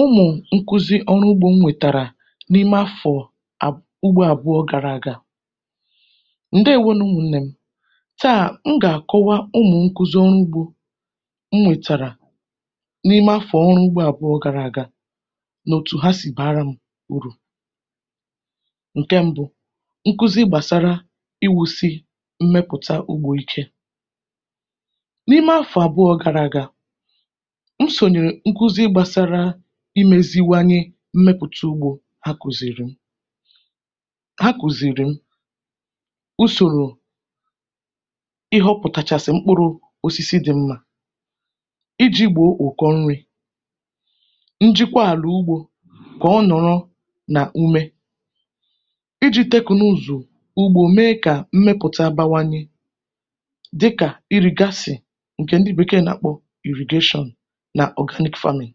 o nwè nkụzị ọrụ ugbō m nwètàrà n’ime afọ̀, ugbō àbụọ̄ gara aga. ǹdèwo nụ̀ ụmụ̄nnẹ m. tàa, m gà àkọwa ụmụ̀ nkuzi ọrụ ugbō m mụ̀tàrà, n’ime afọ̀ ọrụ ugbō àbụọ̄ gara aga, nà òtù ha sì bàara m urù. ǹkẹ mbụ, nkuzi gbàsara iwūsi mmẹ̀kọ̀ta ugbō ike. n’ime afọ̀ àbụọ̄ gara aga, usòrò nkuzi gbasara imēziwanye mmẹpụ̀ta ugbō a kùzìrì m. usòrò kàchàsị̀ mkpụrụ̄ osisi dị mmā, ijī gbòo ụkọ nrī, njikọ àlà ugbō, kà ọ nọ̀ọ nà ume, ijī tẹknụzụ̀, me kà mmụ̀ta bawanyẹ dịkà ịrị̀gasị̀, ǹkè ndị Bèkee nà àkpọ irrigation, nà organic farming.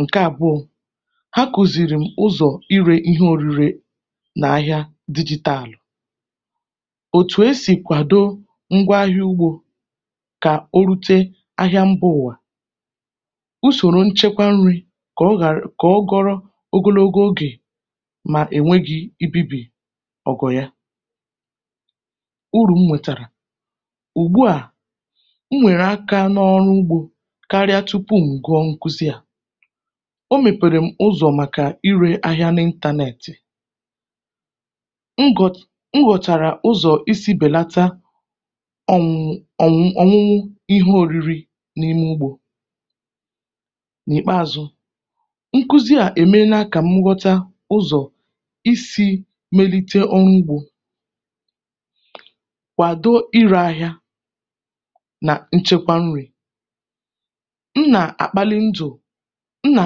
ǹke àbụọ̄, ha kùzìri m ụzọ̀ ịrē ihe orire, n’ahịā dịgị̄tàlụ̀. òtù e sì kwàdo ngwa ahịā ugbō, kà o rute ahịa mbā ụ̀wà, usòrò nchekwa nrī, kà ọ ghàra, kà ọ gọrọ ogonogo ogè, mà ònweghī, ibībì ọ̀gọ̀dọ̀ ya. orùmòtàrà, ùgbu à, m nyèrè akā n’ọrụ ugbō, karịa tupù m̀ gụọ nkuzi à. o nyèkwèrè m ụzọ̀ màkà irē ahịā n’intānẹ̀t. m gụ̀, m nwètàrà uzọ̀ isī bẹ̀lata ọ̀mụmụ ihe oriri. n’ìkpeazụ, nkuzi à è mela kà nghọta ụzọ̀ isī melite ọrụ ugbō, kwàdo irē ahịa, nà nchekwa nrī. m nà àkpalị ndụ̀, m nà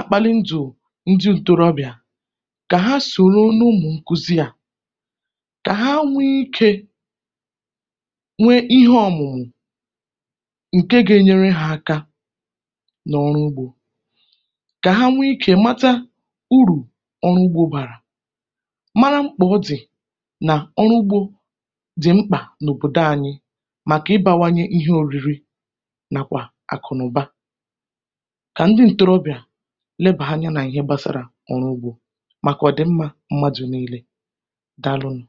àkpalị ndụ̀ ndị ntorobị̀à, kà ha sòro n’ụmụ̀ nkuzi à, kà ha nwe ikē nwe ihe ọ̀mụ̀mụ̀, ǹke ga enyere ha aka, n’ọrụ ugbō, kà ha nwe ikē mata urù ọrụ ugbō bàrà, mara mkpà ọ dị̀, nà ọrụ ugbō dị̀ mkpà n’òbòdo anyị, màkà ị bara anyị ihe oriri, mà àkụ̀nụ̀ba, kà ndị ntorobịà nebàa anyā nà ihe gbasara ọrụ ugbō, màkà ọ̀dị̀m̀ma mmadù nille. Dàalụ nụ̀.